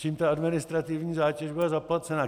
Čím ta administrativní zátěž bude zaplacena.